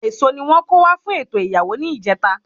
Èso ni wón kó wá fún ètò ìyàwó ní ìjeta